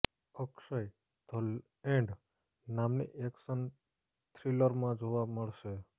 Akshay the end નામની action થ્રિલરમાં જોવા મળશે